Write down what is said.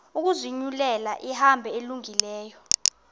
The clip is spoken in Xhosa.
ukuzinyulela ihambo elungileyo